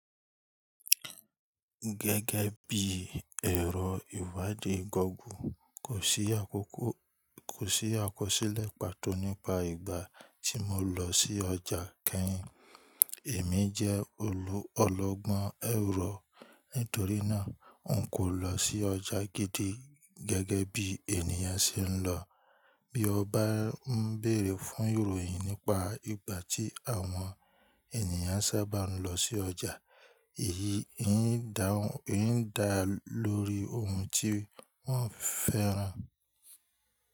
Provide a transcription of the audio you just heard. Gẹ́gẹ́ bí ẹ̀rọ ìwádìí gogu, kò sí akoko--àkọsílẹ̀ pàtó nípa ìgbà tí mo lọ sí ọjà kẹ́hìn. Èmi jẹ́ olù--ọ́lọ́gbọ́n èrò, nítorí náà n kò lọ sí ọjà gidi gẹ́gẹ́ bí ènìyàn ṣe ń lọ. Bí o bá ń bèrè fún ìròyìn nípa ìgbà tí àwọn ènìyàn sábà ń lọ sí ọjà, èyí ń daun--n dà lórí ohun tí wọ́n fẹ́ rà.